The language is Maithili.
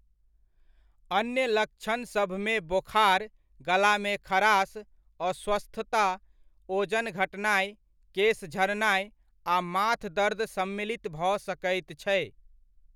अन्य लक्षणसभमे बोखार, गलामे खराश, अस्वस्थता, ओजन घटनाइ, केस झड़नाइ, आ माथदर्द सम्मिलित भऽ सकैत छै।